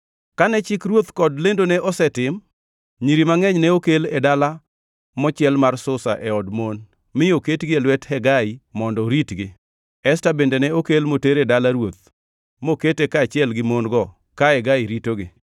Kane chik ruoth kod lendone osetim, nyiri mangʼeny ne okel e dala mochiel mar Susa e od mon mi oketgi e lwet Hegai mondo oritgi. Esta bende ne okel moter e dala ruoth mokete kaachiel gi mon-go ka Hegai ritogi.